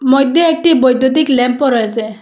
মইদ্যে একটি বৈদ্যুতিক ল্যাম্পও রয়েসে।